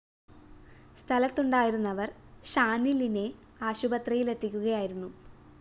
സ്ഥലത്തുണ്ടായിരുന്നവര്‍ ഷാനിലിനെ ആശുപത്രിയില്‍ എത്തിക്കുകയായിരുന്നു